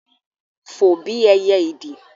fò bí ẹyẹ ìdì